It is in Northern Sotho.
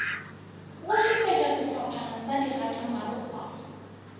go šupetša sehlophana sa digatamarokgwana